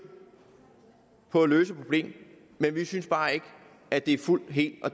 på at løse problemet men vi synes bare ikke at det er fuldt helt og